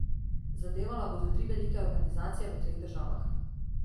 Zadevala bodo tri velike organizacije v treh državah.